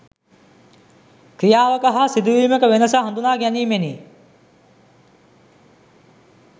ක්‍රියාවක හා සිදුවීමක වෙනස හඳුනා ගැනීමෙනි.